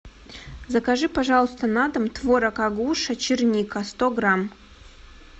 закажи пожалуйста на дом творог агуша черника сто грамм